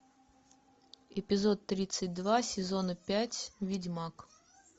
эпизод тридцать два сезона пять ведьмак